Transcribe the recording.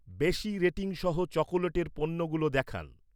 বেশি রেটিং সহ চকোলেটের পণ্যগুলো দেখান।